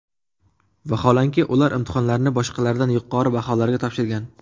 Vaholanki, ular imtihonlarni boshqalardan yuqori baholarga topshirgan.